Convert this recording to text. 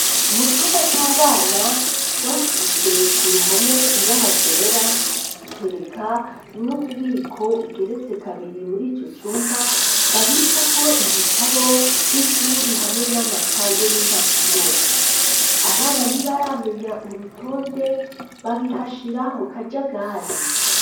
Mu cumba c'abana ,twasize ku ruhome ibara ryera, dutereka n'ububiko bugeretse kabiri muri ico cumba ,babikako ibitabo vy'ishuri, hamwe n'amakaye, n'impapuro ,abana ntibaramenya urutonde babihashira mu kajagari.